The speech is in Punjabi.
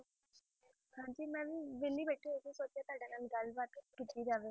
ਹਾਂਜੀ ਮੈਂ ਵੀ ਵਿਹਲੀ ਬੈਠੀ ਹੋਈ ਸੀ ਸੋਚਿਆ ਤੁਹਾਡੇ ਨਾਲ ਗੱਲਬਾਤ ਹੀ ਕੀਤੀ ਜਾਵੇ